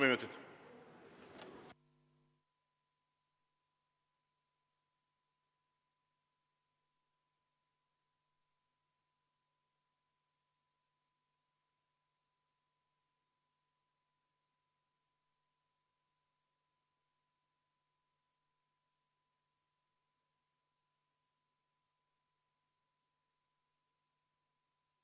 Aitäh!